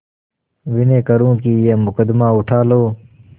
विनय करुँ कि यह मुकदमा उठा लो